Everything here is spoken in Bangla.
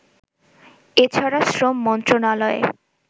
এছাড়া শ্রম মন্ত্রনালয়ের